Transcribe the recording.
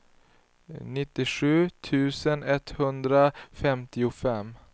nittiosju tusen etthundrafemtiofem